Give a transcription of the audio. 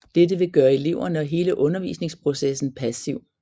Dette vil gøre eleverne og hele undervisningsprocessen passiv